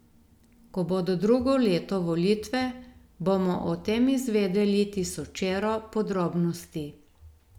Ko bodo drugo leto volitve, bomo o tem izvedeli tisočero podrobnosti.